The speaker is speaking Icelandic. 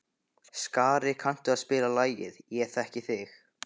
Skari, kanntu að spila lagið „Ég þekki þig“?